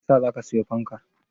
Meyasa zaka siyi fankar?